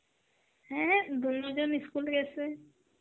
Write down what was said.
হ্যাঁ দুনোজন ই school গেসে.